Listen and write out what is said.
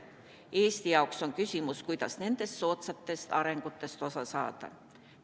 Eesti jaoks on küsimus, kuidas nendest soodsatest arengutest osa saada.